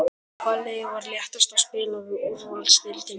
Hvaða lið var léttast að spila við í úrvalsdeildinni?